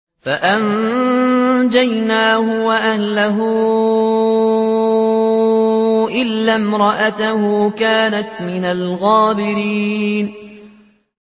فَأَنجَيْنَاهُ وَأَهْلَهُ إِلَّا امْرَأَتَهُ كَانَتْ مِنَ الْغَابِرِينَ